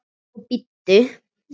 Og bíddu.